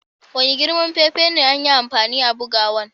Wani girman fefa ne an yi amfani a'bugowan?